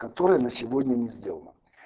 которая на сегодня не сделана